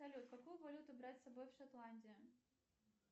салют какую валюту брать с собой в шотландию